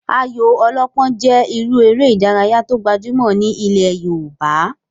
Ayò ọlọ́pọ́n jẹ́ irú eré ìdárayá tó gbajúmọ̀ ní ilẹ̀ yoòbá